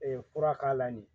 fura k'a la nin